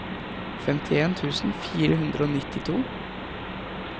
femtien tusen fire hundre og nittito